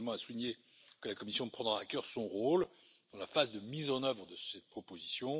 Je tiens également à souligner que la Commission prendra à cœur son rôle dans la phase de mise en œuvre de cette proposition.